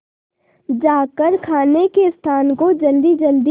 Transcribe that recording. जाकर खाने के स्थान को जल्दीजल्दी